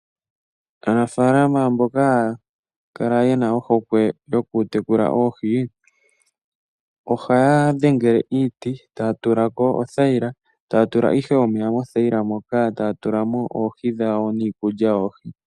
Aanafalama mboka ye na ohokwe yokutekula oohi ohaya dhengele iiti taya tula ko othayila taya tula ihe omeya mothayila moka, taya tula mo oohi dhawo niikulya yoohi.